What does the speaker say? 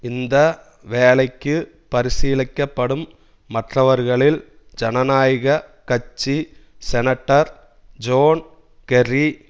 இந்த வேலைக்கு பரிசீலிக்க படும் மற்றவர்களில் ஜனநாயக கட்சி செனட்டர் ஜோன் கெர்ரி